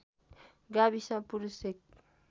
गाविसमा पुरुष १